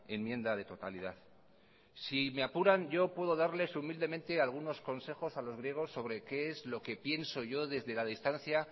enmienda de totalidad si me apuran yo puedo darles humildemente algunos consejos a los griegos sobre qué es lo que pienso yo desde la distancia